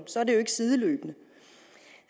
så er det jo ikke sideløbende